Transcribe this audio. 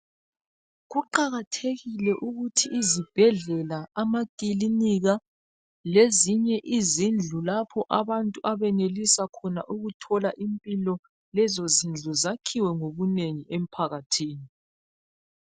Kuqakathekile ukuthi izibhedlela, amakilinika lezinye izindlu lapho abantu abanelisa khona ukuthola impilo lezo zindlu zakhiwe ngobunengi emphakathini.